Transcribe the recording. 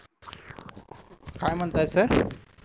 काय म्हणताय सर